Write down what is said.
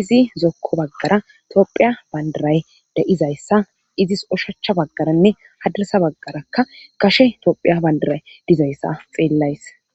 izi zokko baggara tophiya bandaray da7izayssa izis oshacha baggaranne hadasa baggarakka kashe toophiya bandaray dizayssa xeellays